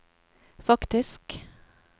faktisk